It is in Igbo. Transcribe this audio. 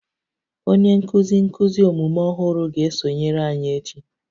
Onye nkuzi nkuzi omume ọhụrụ ga-esonyere anyị echi